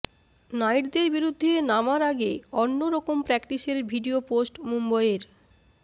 নাইটদের বিরুদ্ধে নামার আগে অন্য রকম প্র্যাকটিসের ভিডিয়ো পোস্ট মুম্বইয়ের